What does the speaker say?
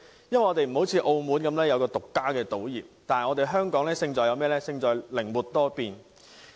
與擁有自家賭業的澳門不同，本港的優勢是勝在靈活多變。